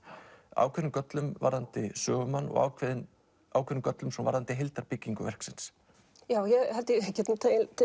ákveðnum göllum varðandi sögumann og ákveðnum ákveðnum göllum varðandi verksins ég held ég geti